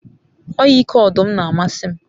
o ike odum n'amasi m